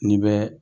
N'i bɛ